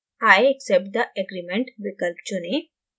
i accept the agreement विकल्प चुनें